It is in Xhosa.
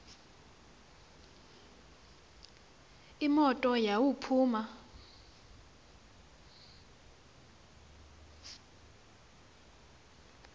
imoto yawo iphuma